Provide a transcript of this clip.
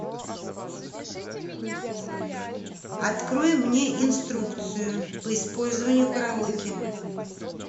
открой мне инструкцию по использованию караоке